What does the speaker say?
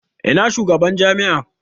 Ina shugaban jami'a?